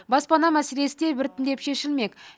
баспана мәселесі де біртіндеп шешілмек